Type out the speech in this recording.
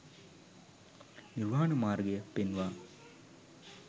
නිර්වාණ මාර්ගය පෙන්වා